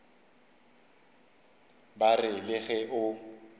ba re le ge o